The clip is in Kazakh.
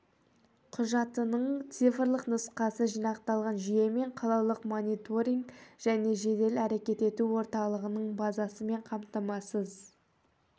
құжатының цифрлық нұсқасы жинақталған жүйе мен қалалық мониторинг және жедел әрекет ету орталығының базасымен қамтамасыз